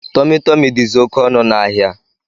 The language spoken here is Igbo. Tumi Tumi dizi oké ọnụ na áhiá.